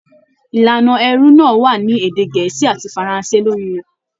Ìlànà ẹrú náà wà ní èdè gẹ̀ẹ́sì àti faranse lórí rẹ.